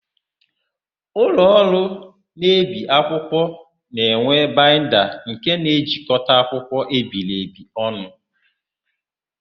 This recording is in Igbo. Ụlọọrụ na-ebi akwụkwọ na-enwe baịnda nke na-ejikọta akwụkwọ ebiri ebi ọnụ.